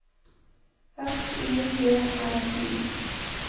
S I G R I